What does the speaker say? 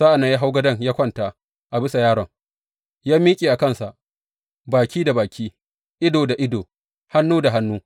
Sa’an nan ya hau gadon yă kwanta a bisa yaron, ya miƙe a kansa, baki da baki, ido da ido, hannu da hannu.